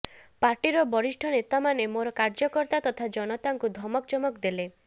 ପାର୍ଟିର ବରିଷ୍ଠ ନେତାମାନେ ମୋର କାର୍ଯ୍ୟକର୍ତ୍ତା ତଥା ଜନତାଙ୍କୁ ଧମକ ଚମକ ଦେଲେ